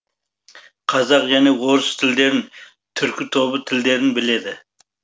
қазақ және орыс тілдерін түркі тобы тілдерін біледі